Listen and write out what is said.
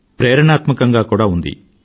ప్రేరణాత్మకంగా ఉంది